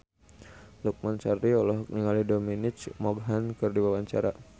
Lukman Sardi olohok ningali Dominic Monaghan keur diwawancara